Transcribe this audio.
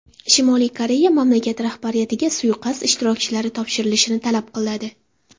Shimoliy Koreya mamlakat rahbariyatiga suiqasd ishtirokchilari topshirilishini talab qiladi.